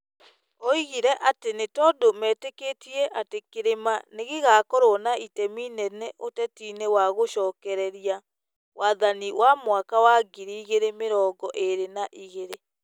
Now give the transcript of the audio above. oigire atĩ nĩ tondũ mĩtĩkĩtie atĩ kĩrĩma nĩ gĩgakorwo na itemi inene ũteti-inĩ wa gũcokereria wathani wa mwaka wa ngiri igĩrĩ mĩrongo ĩrĩ na igĩrĩ .